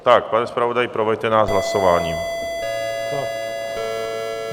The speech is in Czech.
Tak, pane zpravodaji, proveďte nás hlasováním.